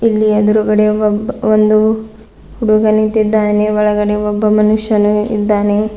ಇಲ್ಲಿ ಎದುರುಗಡೆ ಒಬ್ಬ ಒಂದು ಹುಡುಗ ನಿಂತಿದ್ದಾನೆ ಒಳಗಡೆ ಒಬ್ಬ ಮನುಷ್ಯನು ಇದ್ದಾನೆ.